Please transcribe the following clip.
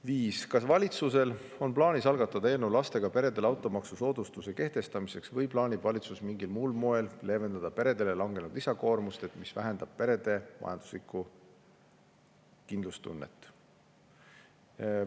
Viies küsimus: "Kas valitsusel on plaanis algatada eelnõu lastega peredele automaksu soodustuste kehtestamiseks või plaanib valitsus mingil muul moel leevendada peredele langenud lisakoormust, mis vähendab perede majanduslikku kindlustunnet?